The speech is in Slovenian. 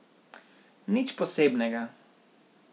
Nič posebnega.